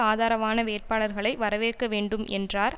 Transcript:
ஆதரவான வேட்பாளர்களை வரவேற்க வேண்டும் என்றார்